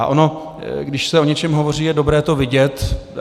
A ono když se o něčem hovoří, je dobré to vidět.